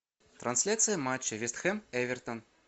трансляция матча вест хэм эвертон